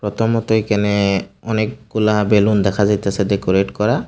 প্রথমত এখানে অনেক-গুলা বেলুন দেখা যাইতেসে ডেকোরেট করা।